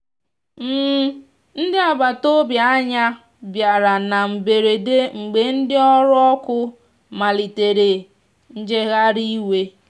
ndi agbata ọbì anya bìara na mgberedemgbe ndi ọrụ ọkụ malitere njegharị iwe.